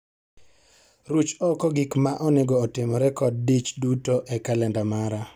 Ruch oko gik ma onego otimre kod dich duto e kalenda mara